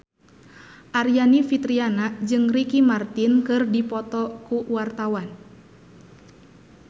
Aryani Fitriana jeung Ricky Martin keur dipoto ku wartawan